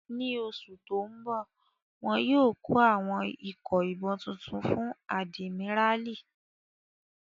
Ní oṣù tó n bọ̀, wọ́n yóò kó àwọn ikọ̀ ìbọn tuntun fún àdìmíràlí